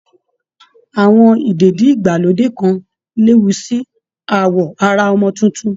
Àwọn ìdèdí-ìgbàlódé kan léwu sí awọ ara ọmọ tuntun